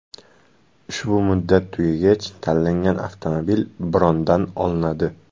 Ushbu muddat tugagach tanlangan avtomobil brondan olinadi.